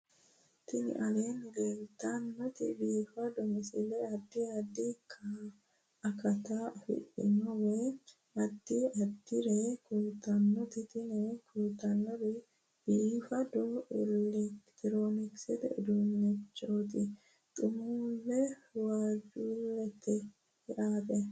Tini aleenni leetannoti biifado misile adi addi akata afidhinote woy addi addire kultannote tini kultannori biifado elekitironkisete uduunneeti xumulle waajjuulleeti yaate